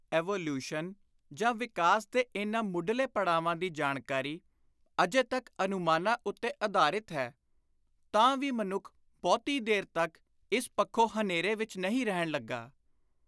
Evolution ਜਾਂ ਵਿਕਾਸ ਦੇ ਇਨ੍ਹਾਂ ਮੁੱਢਲੇ ਪੜਾਵਾਂ ਦੀ ਜਾਣਕਾਰੀ ਅਜੇ ਤਕ ਅਨੁਮਾਨਾਂ ਉੱਤੇ ਆਧਾਰਿਤ ਹੈ, ਤਾਂ ਵੀ ਮਨੁੱਖ ਬਹੁਤੀ ਦੇਰ ਤਕ ਇਸ ਪੱਖੋਂ ਹਨੇਰੇ ਵਿਚ ਨਹੀਂ ਰਹਿਣ ਲੱਗਾ।